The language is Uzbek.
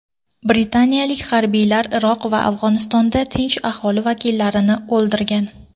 Britaniyalik harbiylar Iroq va Afg‘onistonda tinch aholi vakillarini o‘ldirgan.